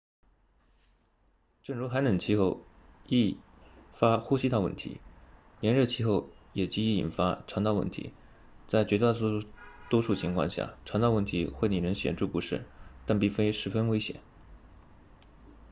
正如寒冷气候易发呼吸道问题炎热气候也极易引发肠道问题在绝大多数情况下肠道问题会令人显著不适但并非十分危险